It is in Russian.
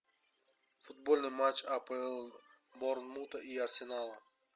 футбольный матч апл борнмута и арсенала